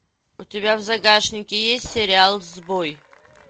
у тебя в загашнике есть сериал сбой